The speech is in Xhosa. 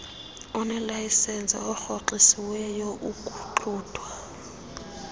onelayisenisi orhoxisiweyo ukuxuthwa